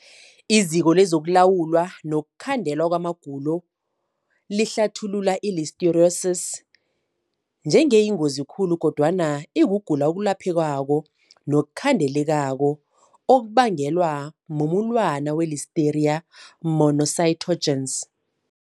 IZiko lokuLawulwa nokuKhandelwa kwamaGulo lihlathulula i-Listeriosis njengeyingozi khulu kodwana ikugula okwelaphekako nokukhandelekako okubangelwa mumulwana we-Listeria monocytogenes.